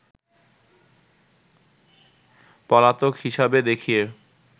পলাতক হিসাবে দেখিয়ে